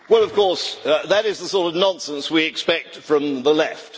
Well, of course, that is the sort of nonsense we expect from the Left.